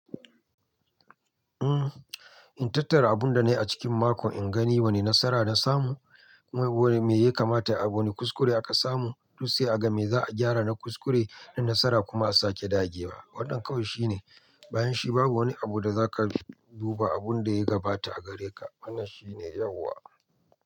Uhm, in tattara abun da na yi a cikin mako, in gani wane nasara na samu, kuma wane me ya kamata a wane kuskure aka samu, duk sai a ga me za'a gyara na kuskure na nasara kuma a sake dage wa. Wannan kawai shine, bayan shi babu wani abu da zaka duba abun da ya gabata a gare ka. Wannan shine yauwa.